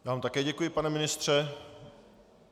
Já vám také děkuji, pane ministře.